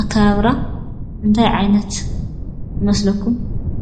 ኣከባብራ እንታይ ዓይነት ይመስለኩም ?